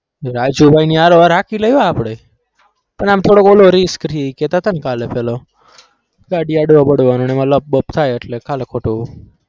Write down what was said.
રાજુભાઈ ને હારો હાર હાંકી લઈએ આપણે પણ આમ થોડો પેલો risk રહે કેહતા હતાને કાલે પેલો ગાડી અડવા-બડાવનો અને એમાં લપ-બપ થાય એટલે ખાલી ખોટું